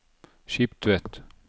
Skiptvet